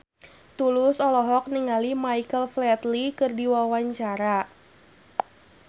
Tulus olohok ningali Michael Flatley keur diwawancara